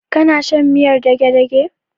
Kana shan miyar dagedage?